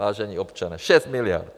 Vážení občané, 6 miliard!